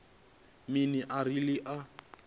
mini arali a tshi khou